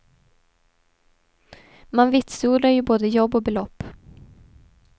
Man vitsordar ju både jobb och belopp.